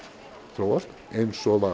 þróast eins og